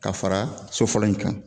K'a fara so fɔlɔ in kan